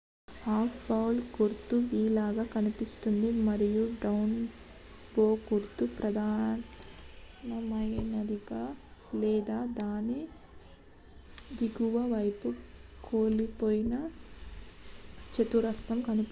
"""Up bow" గుర్తు v లాగా కనిపిస్తుంది మరియు "డౌన్ బో గుర్తు" ప్రధానమైనదిగా లేదా దాని దిగువ వైపు కోల్పోయిన చతురస్రంగా కనిపిస్తుంది.